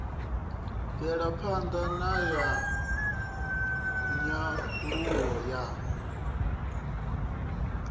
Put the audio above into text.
mvelapha ṋda ya nyaluwo ya